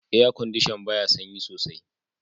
"Air condition" baya sanyi soaI.